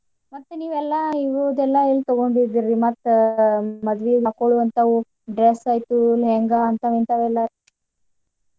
ಮತ್ತ್ ನೀವೆಲ್ಲ ಇದೆಲ್ಲ ಎಲ್ ತೂಗೋಂಡಿದ್ರೀ ಮತ್ತ ಮದ್ವಿಗ್ ಹಾಕ್ಕೋಳೋ ಹಂತವ್ dress ಆತು lehanga ಹಿಂತಾವ್ ಹಿಂತಾವ್ ಎಲ್ಲಾ.